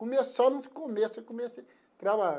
Começamos, no começo comecei a trabalhar..